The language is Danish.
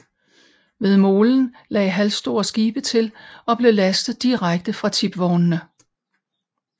Ved molen lagde halvstore skibe til og blev lastet direkte fra tipvognene